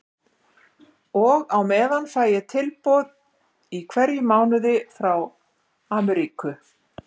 Og á meðan fæ ég tilboð í hverjum mánuði frá Amríku.